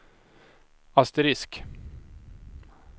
asterisk